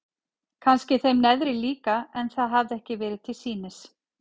Kannski þeim neðri líka en það hafði ekki verið til sýnis.